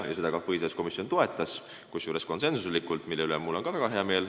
Seda soovi ka põhiseaduskomisjon toetas, kusjuures konsensuslikult, mille üle mul on väga hea meel.